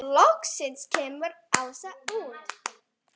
Loksins kemur Ása út.